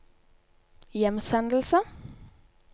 hjemsendelse